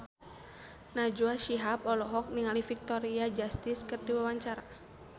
Najwa Shihab olohok ningali Victoria Justice keur diwawancara